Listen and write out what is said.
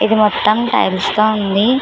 ఇది మొత్తము టైల్స్ తో ఉంది.